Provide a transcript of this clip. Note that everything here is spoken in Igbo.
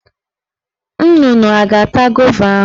Nnụnụ a ga-ata gova ahụ?